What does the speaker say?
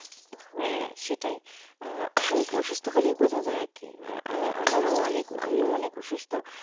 হ্যাঁ সেটাই অসুস্থ হলেই বুঝা যায় আর কি, তো আমারও আমিও অনেক অসুস্থ